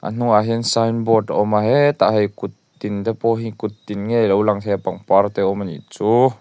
a hnung ah hian signboard a awm a hetah hei kut tin te pawh hi kut tin NGE alo lang thei a pangpar te a awm anih chu.